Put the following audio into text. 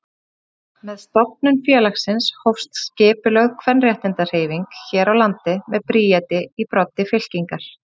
Með stofnun félagsins hófst skipulögð kvenréttindahreyfing hér á landi með Bríeti í broddi fylkingar.